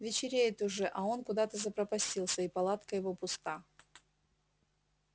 вечереет уже а он куда-то запропастился и палатка его пуста